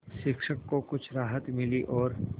शिक्षक को कुछ राहत मिली और